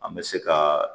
An bɛ se ka